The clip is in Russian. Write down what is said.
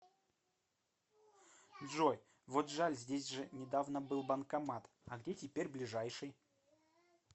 джой вот жаль здесь же недавно был банкомат а где теперь ближайший